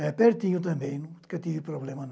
É pertinho também, nunca tive problema não.